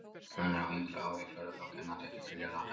Hann er á yngra ári í fjórða flokki, en hann þykir gríðarlegt efni.